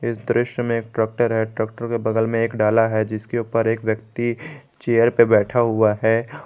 इस दृश्य में एक ट्रैक्टर है ट्रैक्टर के बगल में एक डाला है जिसके ऊपर एक व्यक्ति चेयर पे बैठा हुआ है।